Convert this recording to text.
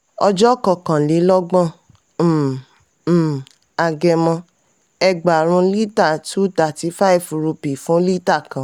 ọjọ́ kọkànlélọ́gbọ̀n um um agẹmọ: ẹgbààrún lítà two thirty five rúpì fún lítà kan.